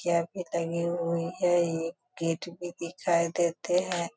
चाभी टंगी हुई है एक गेट भी दिखाई देते हैं|